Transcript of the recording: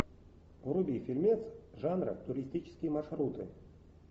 вруби фильмец жанра туристические маршруты